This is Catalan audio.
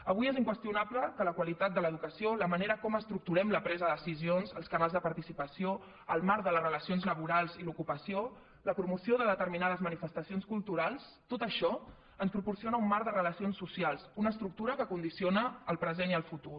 avui és inqüestionable que la qualitat de l’educació la manera com estructurem la presa de decisions els canals de participació el marc de les relacions laborals i l’ocupació la promoció de determinades manifestacions culturals tot això ens proporciona un marc de relacions socials una estructura que condiciona el present i el futur